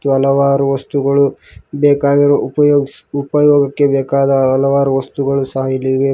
ಹಲವಾರು ವಸ್ತುಗಳು ಬೇಕಾಗಿರುವ ಉಪಯೋಗಿಸ್ ಉಪಯೋಗಕ್ಕೆ ಬೇಕಾದ ಹಲವಾರು ವಸ್ತುಗಳು ಸಹ ಇವೆ.